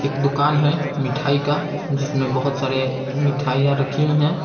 एक दुकान है मिठाई का जिसमें बहोत सारे मिठाइयां रखी हुई है।